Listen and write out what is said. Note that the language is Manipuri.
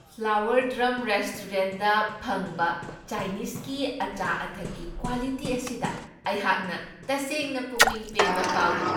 ꯐ꯭ꯂꯥꯋꯔ ꯗ꯭ꯔꯝ ꯔꯦꯁꯇꯨꯔꯦꯟꯗ ꯐꯪꯕ ꯆꯥꯏꯅꯤꯁꯀꯤ ꯑꯆꯥ ꯑꯊꯛꯀꯤ ꯀ꯭ꯋꯥꯂꯤꯇꯤ ꯑꯁꯤꯗ ꯑꯩꯍꯥꯛꯅ ꯇꯁꯦꯡꯅ ꯄꯨꯛꯅꯤꯡ ꯄꯦꯟꯕ ꯐꯥꯎꯢ꯫